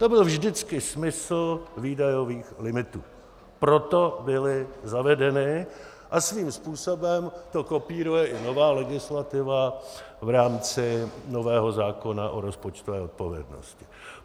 To byl vždycky smysl výdajových limitů, proto byly zavedeny a svým způsobem to kopíruje i nová legislativa v rámci nového zákona o rozpočtové odpovědnosti.